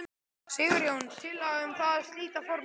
Sigurjón: Tillaga um það að slíta formlega?